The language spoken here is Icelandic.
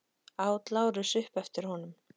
át Lárus upp eftir honum.